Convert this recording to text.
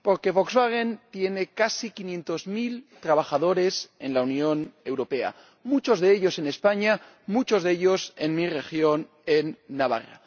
Porque Volkswagen tiene casi quinientos mil trabajadores en la Unión Europea, muchos de ellos en España, muchos de ellos en mi región, en Navarra.